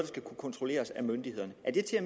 skal kunne kontrolleres af myndighederne er det til